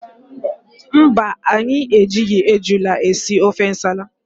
Mba anyị ejighi ejula esị ofe ǹsàlà.